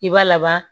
I b'a laban